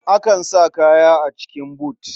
Akan sa kaya a cikin but.